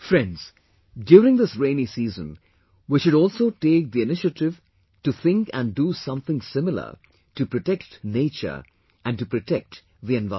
Friends, during this rainy season we should also take the initiative to think and do something similar to protect nature and to protect the environment